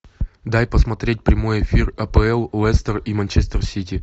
дай посмотреть прямой эфир апл лестер и манчестер сити